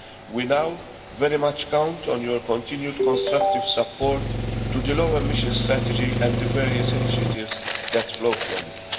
We now very much count on your continued constructive support to the low emissions strategy and the various initiatives that flow from